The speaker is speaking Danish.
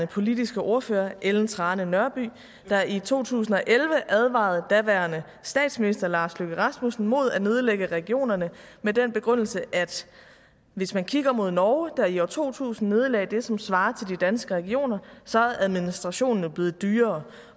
politiske ordfører ellen trane nørby der i to tusind og elleve advarede daværende statsminister lars løkke rasmussen mod at nedlægge regionerne med den begrundelse at hvis man kigger mod norge der i år to tusind nedlagde det som svarer til de danske regioner så er administrationen jo blevet dyrere